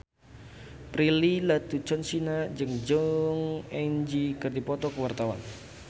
Prilly Latuconsina jeung Jong Eun Ji keur dipoto ku wartawan